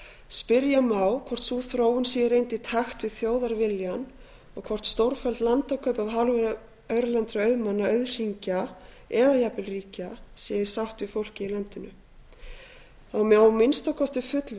spyrja má hvort sú þróun sé í reynd í takt við þjóðarviljann og hvort stórfelld landakaup af hálfu erlendra auðmanna auðhringa eða jafnvel ríkja séu í sátt við fólkið í landinu það má að minnsta kosti